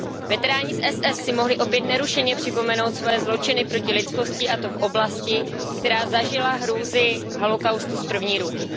Veteráni SS si mohli opět nerušeně připomenout svoje zločiny proti lidskosti, a to v oblasti, která zažila hrůzy holocaustu z první ruky.